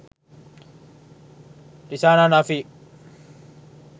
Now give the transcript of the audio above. rizana nafik